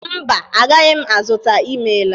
Mba, agaghị m azụta. Ị mela.